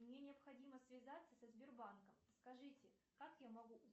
мне необходимо связаться со сбербанком скажите как я могу